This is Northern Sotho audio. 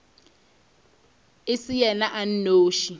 e se yena a nnoši